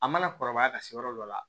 A mana kɔrɔbaya ka se yɔrɔ dɔ la